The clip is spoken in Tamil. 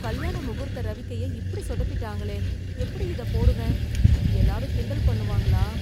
கல்யாண முகூர்த்த ரவிக்கைய இப்படி சொதப்பிட்டாங்களே எப்படி இதப் போடுவேன், எல்லாரும் கிண்டல் பண்ணுவாங்களா